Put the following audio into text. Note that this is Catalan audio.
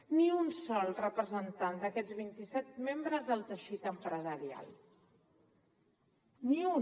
ni un sol representant d’aquests vint i set membres del teixit empresarial ni un